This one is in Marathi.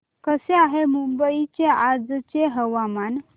कसे आहे मुंबई चे आजचे हवामान